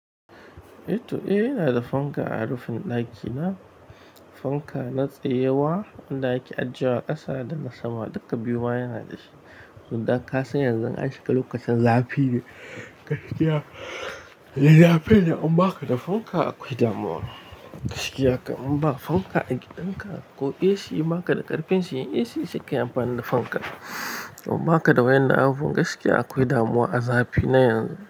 Eto, eh, ina da fanka a rufin ɗakina. Fanka na tsaye ba wanda ake a jiye wa a ƙasa da na sama duka biyu ina da shi. Dan kasan yanzu an shiga lokacin zafi ne. Gaskiya, yana fiye da an ba ka da fanka akwai damuwa. Gaskiya kam in ba fanka a gidan ka ko AC ma ka da ƙarfin siyan AC sai ka yi amfani da fanka. In ba ka da wayannan abubuwan gaskiya akwai damuwa a zafi na yanzu.